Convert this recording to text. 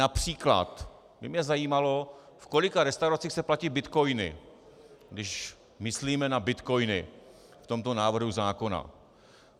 Například by mě zajímalo, v kolika restauracích se platí bitcoiny, když myslíme na bitcoiny v tomto návrhu zákona.